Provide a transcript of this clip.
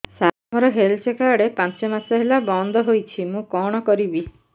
ସାର ମୋର health card ପାଞ୍ଚ ମାସ ହେଲା ବଂଦ ହୋଇଛି ମୁଁ କଣ କରିବି